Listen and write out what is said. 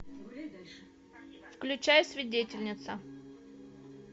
включай свидетельница